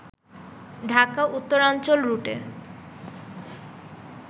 ঢাকা-উত্তরাঞ্চল রুটে